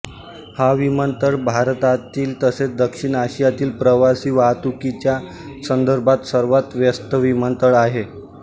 हा विमानतळ भारतातील तसेच दक्षिण आशियातील प्रवासी वाहतुकीच्या संदर्भात सर्वात व्यस्त विमानतळ आहे